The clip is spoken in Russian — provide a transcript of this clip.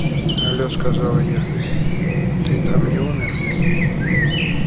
алло сказала я ты там не умер